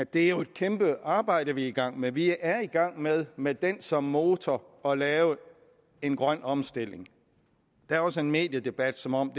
det jo er et kæmpe arbejde vi er i gang med vi er i gang med med den som motor at lave en grøn omstilling der er også en mediedebat som om